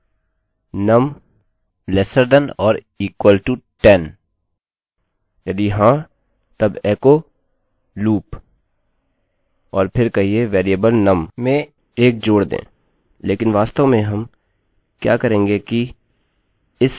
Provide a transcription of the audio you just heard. हम कहने जा रहे हैं num lesser than or equal to 10 num 10 से छोटा या बराबर है यदि हाँ तब echo लूपloop और फिर कहिये वेरिएबल num में 1 जोड़ दें